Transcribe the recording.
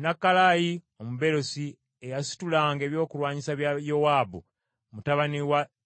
Nakalayi Omubeerosi, eyasitulanga ebyokulwanyisa bya Yowaabu mutabani wa Zeruyiya,